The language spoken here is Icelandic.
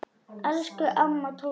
Elsku amma Tóta.